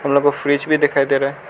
मतलब वो फ्रिज भी दिखाई दे रहा है।